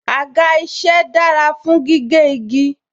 Àga isẹ dára fún gígé igi